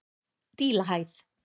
Dílahæð